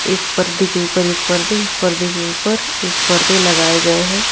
एक पर्दे के ऊपर एक पर्दे एक पर्दे के ऊपर एक पर्दे लगाए गए हैं।